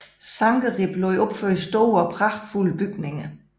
Sankerib lod opføre store og pragtfulde bygninger